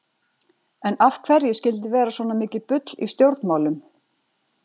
En af hverju skyldi vera svona mikið bull í stjórnmálum?